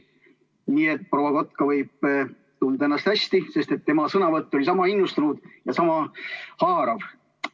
Nii et proua Kotka võib tunda ennast hästi, sest tema sõnavõtt oli sama innustunud ja sama haarav.